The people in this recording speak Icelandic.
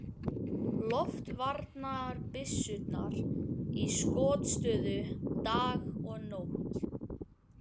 Loftvarnabyssurnar í skotstöðu dag og nótt.